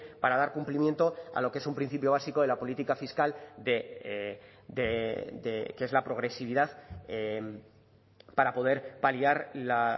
para dar cumplimiento a lo que es un principio básico de la política fiscal de que es la progresividad para poder paliar la